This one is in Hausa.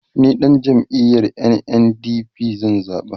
ni ɗan jam'iyar NNDP zan zaɓa